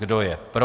Kdo je pro?